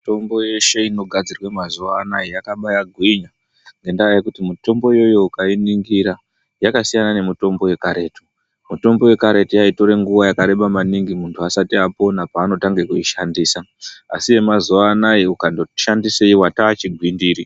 Mitombo yeshe inogadzirwa mazuwa anaaya yakabaagwinya ngendaa yekuti mitombo iyoyo ukayiningira yakasiyana nemitombo yekare. Mitombo yekaretu yaitore nguwa yakareba maningi muntu asati apona paanotange kuishandisa asi yemazuwa anaaya muntu akangoti shandisei wataa chigwindiri.